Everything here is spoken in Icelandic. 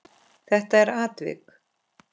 Þetta er atvik.